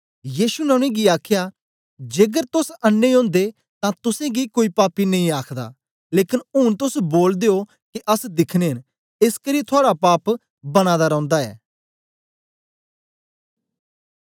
यीशु ने उनेंगी आखया जेकर तोस अन्नें ओदे तां तुसेंगी कोई पापी नेई आखदा लेकन ऊन तोस बोलदे ओ के अस दिखने न एसकरी थुआड़ा पाप बना दा रौंदा ऐ